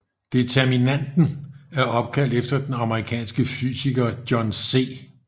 Determinanten er opkaldt efter den amerikanske fysiker John C